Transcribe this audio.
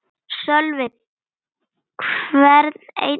Sölvi: Hvern einn og einasta?